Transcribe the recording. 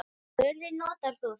Ég spurði: Notar þú þetta?